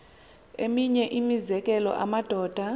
eminye imizekelo amadoda